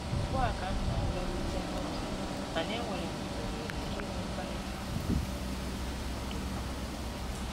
Ugbua ka m na-alọrute n'ụlọ, mana e nwere m ohere inwe mkparịta ụka maka ịkwado agụmakwụkwọ